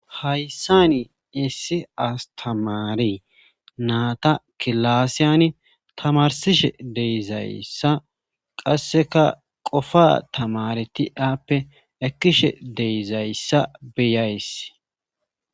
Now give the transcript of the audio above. hayssani issi astamaare naata kilaassiyani tamarsishe de7izayssa qasseka qofa tamareti ape ekkishe de7izayssa beyays